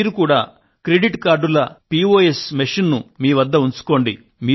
మీరు కూడా క్రెడిట్ కార్డుల పిఒఎస్ మెషిన్ ను మీ వద్ద ఉంచుకోండి